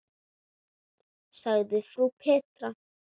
sagði frú Petra.